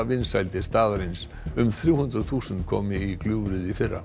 vinsældir staðarins um þrjú hundruð þúsund komu í gljúfrið í fyrra